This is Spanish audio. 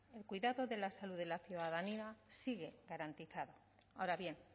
el cuidado de la salud de la ciudadanía sigue garantizado ahora bien